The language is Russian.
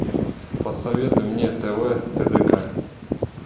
посоветуй мне тв тдк